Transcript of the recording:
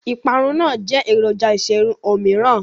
ìparun náà jẹ́ èròjà ìṣerun òmíràn.